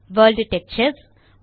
world textures